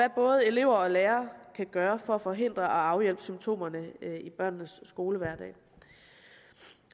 både elever og lærere kan gøre for at forhindre og afhjælpe symptomerne i børnenes skolehverdag